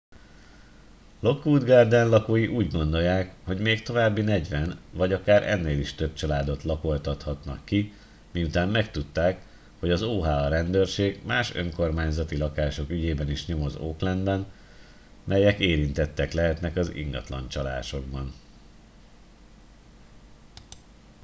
lockwood garden lakói úgy gondolják hogy még további 40 vagy akár ennél is több családot lakoltathatnak ki miután megtudták hogy az oha rendőrség más önkormányzati lakások ügyében is nyomoz oaklandben melyek érintettek lehetnek az ingatlancsalásokban